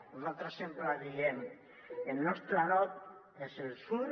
nosaltres sempre diem el nostre nord és el sud